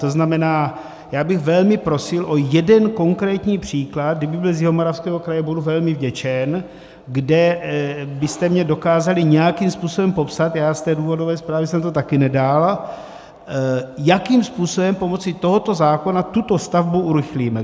To znamená, já bych velmi prosil o jeden konkrétní příklad - kdyby byl z Jihomoravského kraje, budu velmi vděčen - kde byste mi dokázali nějakým způsobem popsat, já z té důvodové zprávy jsem to také nedal, jakým způsobem pomocí tohoto zákona tuto stavbu urychlíme.